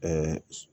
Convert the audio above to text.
Ɛɛ